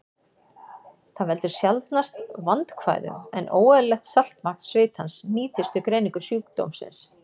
Það veldur sjaldnast vandkvæðum, en óeðlilegt saltmagn svitans nýtist við greiningu sjúkdómsins.